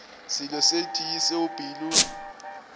selo se tee seo pelo